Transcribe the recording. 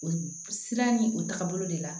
O siran ni o tagabolo de la